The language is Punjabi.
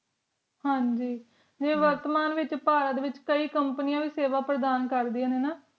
ਹਨ ਗ ਜਿਵੇਂ ਵਰਤਮਾਨ ਵਿਚ ਪਹਾੜਾਂ ਵਿਚ ਕੇ ਕੰਪਨੀਆਂ ਵੀ ਸੇਵਾ ਪ੍ਰਦਾਨ ਕਰਦਿਆਂ ਨੇ ਨਾ